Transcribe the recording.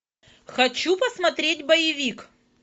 хочу посмотреть боевик